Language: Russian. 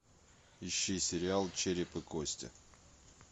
ищи сериал череп и кости